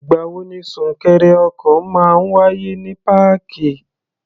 Ì̀gbà wo ni súnkẹrẹ ọkọ̀ máa ń wáyé ní páàkì?